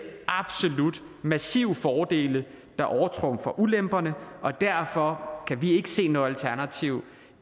absolut massive fordele der overtrumfer ulemperne og derfor kan vi ikke se noget alternativ